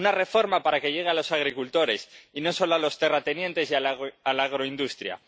Una reforma para que llegue a los agricultores, y no solo a los terratenientes y a la agroindustria.